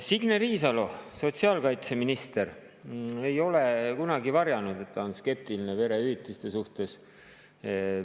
Signe Riisalo, sotsiaalkaitseminister, ei ole kunagi varjanud, et ta on skeptiline perehüvitiste suhtes.